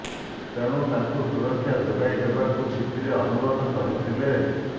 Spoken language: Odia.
ତେଣୁ ତାଙ୍କୁ ସୁରକ୍ଷା ଯୋଗାଇ ଦେବାକୁ ଚିଠିରେ ଅନୁରୋଧ କରିଥିଲେ